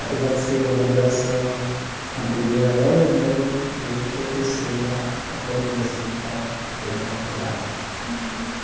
Apesar de ser uma geração anterior a elas né, eu eu sou o terceiro da da família assim que está fazendo faculdade. Uhum.